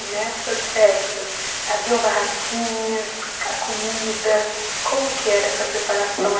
E nessas festas haviam barraquinhas, a comida, como que era essa preparação?